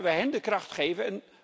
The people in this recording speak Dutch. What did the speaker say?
Laten we hen de kracht geven.